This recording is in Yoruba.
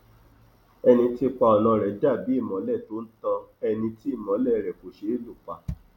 ẹni tí ipa ọnà rẹ dà bí ìmọlẹ tó ń tan ẹni tí ìmọlẹ rẹ kò ṣe é lù pa